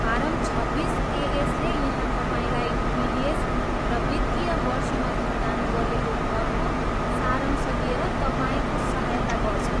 Form छब्बिस एएसले यहाँ तपाईँलाई टिडिएस र वित्तीय वर्षमा भुक्तान गरिएको करको सारांश दिएर तपाईँको सहायता गर्छ।